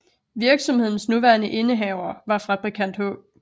Virksomhedens nuværende indehaver var fabrikant H